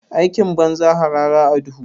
Aikin banza, harara a duhu.